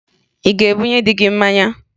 Ị ga-ebunye dị gị mmanya?